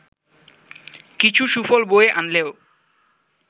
কিছু সুফল বয়ে আনলেও